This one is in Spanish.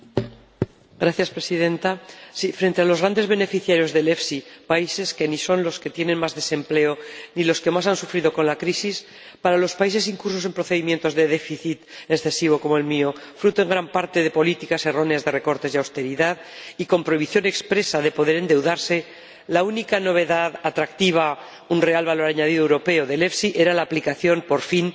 Señora Presidenta, frente a los grandes beneficiarios del FEIE, países que ni son los que tienen más desempleo ni los que más han sufrido con la crisis, para los países incursos en procedimientos de déficit excesivo como el mío, fruto en gran parte de políticas erróneas de recortes y austeridad y con prohibición expresa de poder endeudarse, la única novedad atractiva —un real valor añadido europeo— del FEIE era la aplicación, por fin, de la